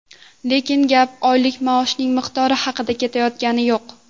Lekin gap oylik maoshning miqdori haqida ketayotgani yo‘q.